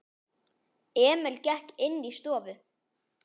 Emil gekk inní stofu.